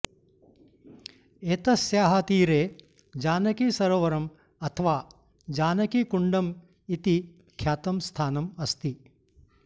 एतस्याः तीरे जानकीसरोवरम् अथवा जानकीकुण्डम् इति ख्यातं स्थानम् अस्ति